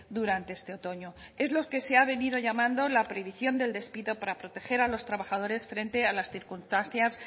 durante este otoño es lo que se ha venido llamando la prohibición del despido para proteger a los trabajadores frente a las circunstancias